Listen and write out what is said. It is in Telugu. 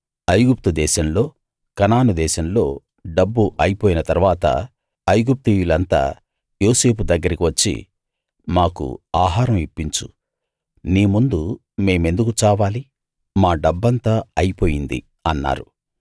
ఐగుప్తు దేశంలో కనాను దేశంలో డబ్బు అయిపోయిన తరువాత ఐగుప్తీయులంతా యోసేపు దగ్గరికి వచ్చి మాకు ఆహారం ఇప్పించు నీ ముందు మేమెందుకు చావాలి మా డబ్బంతా అయిపోయింది అన్నారు